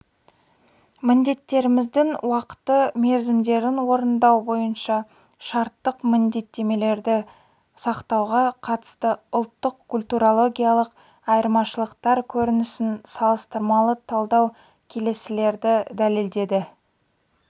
міндеттемелердің уақыты мерзімдерін орындау бойынша шарттық міндеттемелерді сақтауға қатысты ұлттық-культурологиялық айырмашылықтар көрінісін салыстырмалы талдау келесілерді дәлелдеді